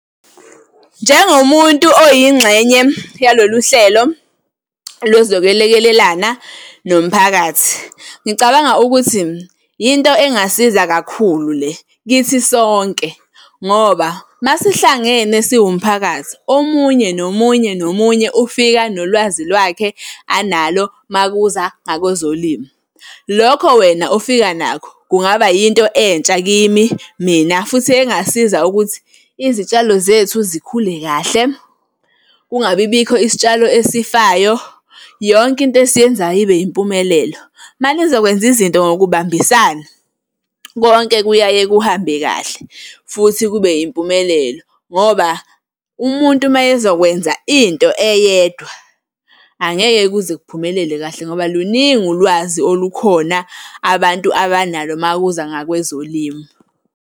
Njengomuntu oyingxenye yalolu hlelo lozokwelekelelana nomphakathi, ngicabanga ukuthi yinto engasiza kakhulu le kithi sonke, ngoba masihlangene siwumphakathi, omunye, nomunye, nomunye ufika nolwazi lwakhe analo makuza ngakwezolimo. Lokho wena ofika nakho kungaba yinto entsha kimi mina futhi engasiza ukuthi izitshalo zethu zikhule kahle, kungabi bikho isitshalo esifayo, yonke into esiyenzayo ibe impumelelo. Uma nizokwenza izinto ngokubambisana, konke kuyaye kuhambe kahle futhi kube impumelelo, ngoba umuntu uma ezokwenza into eyedwa, angeke kuze kuphumelele kahle ngoba luningi ulwazi olukhona abantu abanalo makuza ngakwezolimo.